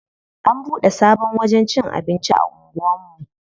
An bude sabon wajen cin abinci a anguwan mu.